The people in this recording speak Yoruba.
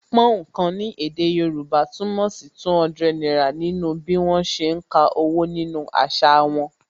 Púnǹkan ni èdè Yorùbá túmọ̀ sí 200 náírà nínú bí wọn ṣe ń ka owó nínú àṣà wọn